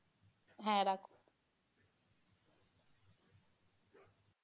হ্যাঁ রাখো